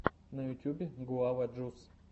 на ютюбе гуава джус